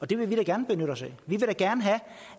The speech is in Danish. det vil vi da gerne benytte os af vi vil da gerne have